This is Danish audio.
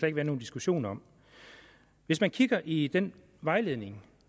ikke være nogen diskussion om hvis man kigger i den vejledning